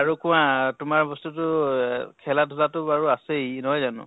আৰু কোৱা তোমাৰ বস্তু টো এহ খেলা ধুলা টো আছেই, নহয় জানো?